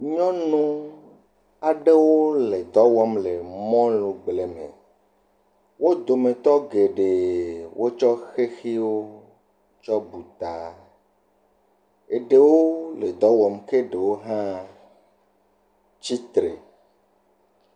Nyɔnu aɖewo le dɔ wɔm le mɔlugble me, wo dometɔ wotsɔ xexiwo tsɔ bu ta, eɖewo le dɔ wɔm ke ɖewo tsi tre.